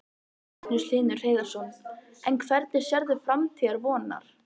Magnús Hlynur Hreiðarsson: En hvernig sérðu framtíð Vonar?